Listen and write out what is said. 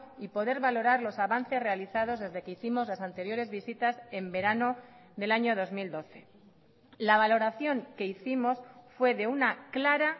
y poder valorar los avances realizados desde que hicimos las anteriores visitas en verano del año dos mil doce la valoración que hicimos fue de una clara